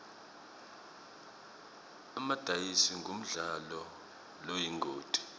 emadayizi ngumdlalo loyingoti